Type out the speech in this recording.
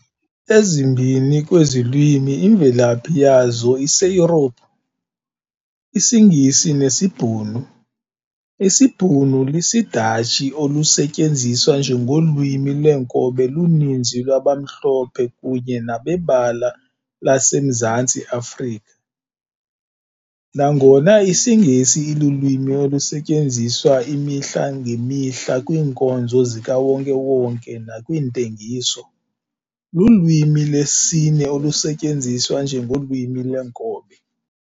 Ezimbini kwezi lwimi imvelaphi yazo iseYurophu- isiNgisi nesiBhunu, isiBhunu lisiDatshi olusetyenziswa njengolwimi lweenkobe luninzi lwabamhlophe kunye nabebala kweli laseMzantsi Afrika. Nangona isiNgesi ilulwimi olusetyenziswa imihla-ngemihla kwiinkonzo zikawonke-wonke nakwiintengiso, lulwimi lwesine olusetyenziswa njengolwimi lweenkobe.